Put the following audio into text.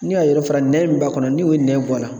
N'i y'a yɔrɔ fara nɛn min b'a kɔnɔ n'i y'o nɛn bɔ a la